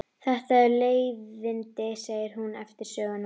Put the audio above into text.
Þetta eru leiðindi, segir hún eftir söguna.